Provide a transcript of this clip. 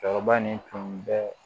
Cɛkɔrɔba nin tun bɛ